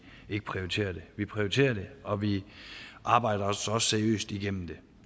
ikke prioriterer det vi prioriterer det og vi arbejder os også seriøst igennem det